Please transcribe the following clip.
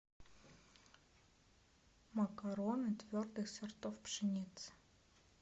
макароны твердых сортов пшеницы